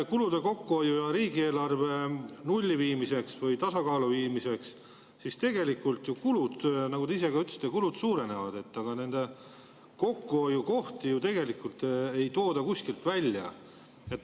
Kulude kokkuhoiuks ja riigieelarve nulli või tasakaalu viimiseks tegelikult kulud, nagu te ka ise ütlesite, suurenevad, aga neid kokkuhoiukohti ei tooda ju kuskil välja.